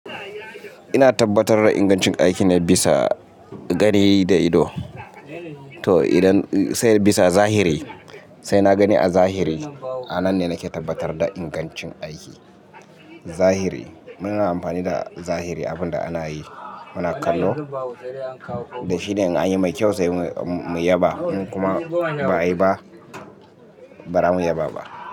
Ina tabbatar da ingancin aikina bisa gani da ido. To idan sai bisa zahiri, sai na gani a zahiri, a nan ne nake tabbatar da ingancin aiki. Zahiri muna amfani da zahiri abin da ana yi muna kallo da shi ne in an yi mai kyau sai mu yaba in kuma ba ayi ba, ba za mu yaba ba.